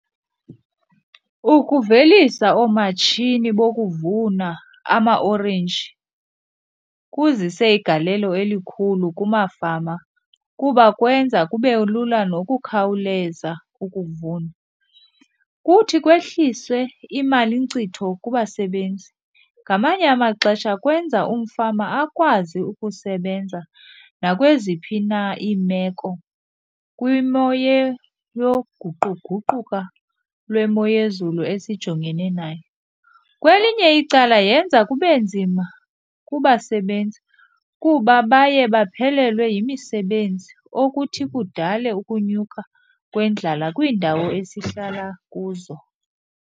Ukuvelisa oomatshini bokuvuna amaorenji kuzise igalelo elikhulu kumafama kuba kwenza kube lula nokukhawuleza ukuvuna. Kuthi kwehliswe imalinkcitho kubasebenzi, ngamanye amaxesha kwenza umfama akwazi ukusebenza nakweziphi na iimeko kwimo yoguquguquka lwemo yezulu esijongene nayo. Kwelinye icala yenza kube nzima kubasebenzi kuba baye baphelelwe yimisebenzi, okuthi kudale ukunyuka kwendlala kwiindawo esihlala kuzo.